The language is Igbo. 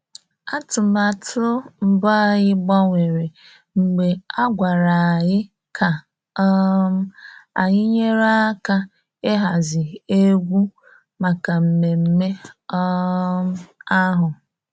Atụmatụ mbụ anyị gbanwere mgbe a gwara anyị ka um anyị nyere aka ịhazi egwu maka mmemme um ahụ